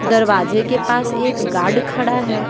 दरवाजे के पास एक गार्ड खड़ा है।